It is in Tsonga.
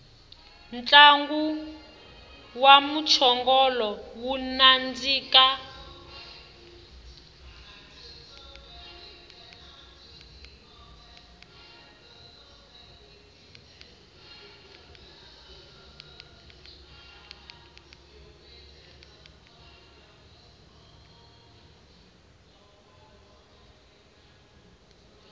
ntlangu wa mchongolo wa nandika